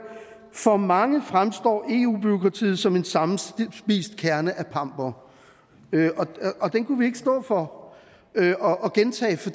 for mange fremstår eu bureaukratiet som en sammenspist kerne af pampere og den kunne vi ikke stå for at gentage for